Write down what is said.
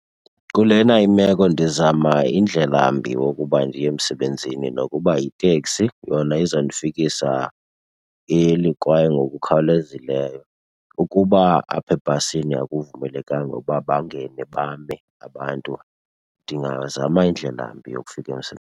Kulena imeko ndizama indlela mbi yokuba ndiye emsebenzini nokuba yiteksi yona izandifikisa early kwaye ngokukhawulezileyo. Ukuba apha ebhasini akuvumelekanga ukuba bangene bame abantu, ndingazama indlela mbi yokufika .